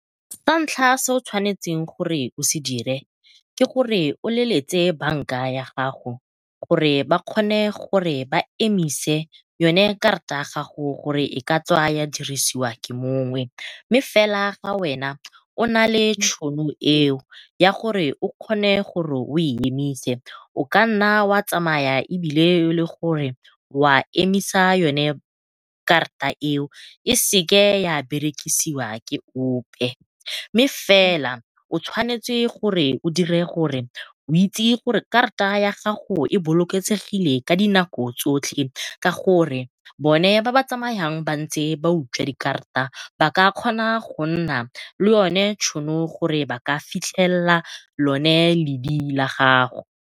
Sa ntlha se o tshwanetseng gore o se dire ke gore o leletse banka ya gago gore ba kgone gore ba emise yone karata ya gago gore e ka tswa ya dirisiwa ke motho mongwe, mme fela ga wena o nale tšhono eo ya gore o kgone gore o e emise o kanna wa tsamaya ebile elegore wa emisa yone karata eo e seke ya berekisiwa ke ope. Mme fela o tshwanetse gore o dire gore o itse gore karata ya gago e bolokesegile ka dinako tsotlhe, ka gore bone ba ba tsamayang ba ntse ba utswa dikarata ba ka kgona go nna le yone tšhono gore ba ka fitlhelela lone ledi la gago.